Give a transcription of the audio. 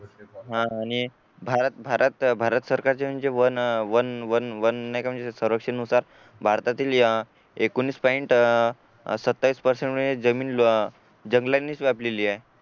हा आणि भारत भारत भारत सरकारचे म्हणजे वन वन वन नाही का म्हणजे संरक्षण नुसार भारतातील एकोणवीस पॉईंट अह सत्तावीस पर्सेंट म्हणजे जमीन जंगलांनीच व्यापलेली आहे